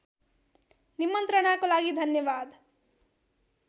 निमन्त्रणाको लागि धन्यवाद